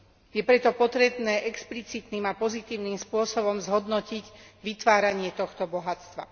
Je preto potrebné explicitným a pozitívnym spôsobom zhodnotiť vytváranie tohto bohatstva.